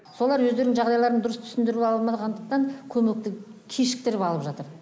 солар өздерінің жағдайларын дұрыс түсіндіру алмағандықтан көмекті кешіктіріп алып жатыр